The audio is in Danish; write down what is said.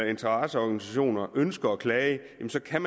interesseorganisationer ønsker at klage jamen så kan